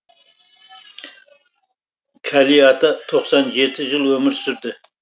кәли ата тоқсан жеті жыл өмір сүрді